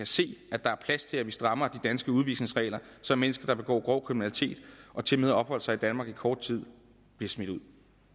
se at der er plads til at vi strammer de danske udvisningsregler så mennesker der begår grov kriminalitet og tilmed har opholdt sig i danmark i kort tid bliver smidt ud